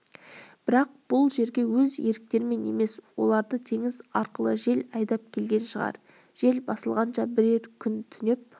бірақ бұл жерге өз еріктерімен емес оларды теңіз арқылы жел айдап келген шығар жел басылғанша бірер күн түнеп